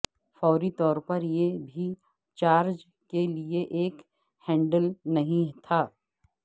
فوری طور پر یہ بھی چارج کے لئے ایک ہینڈل نہیں تھا